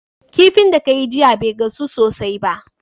Kifin da kayi jiya be gasu sosai ba